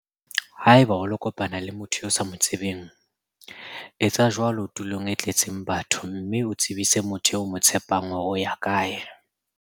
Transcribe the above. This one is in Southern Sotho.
Haeba o lo kopana le motho eo o sa mo tsebeng, etsa jwalo tulong e tletseng batho mme o tsebise motho eo o mo tshepang hore o ya kae.